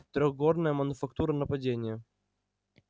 трёхгорная мануфактура нападение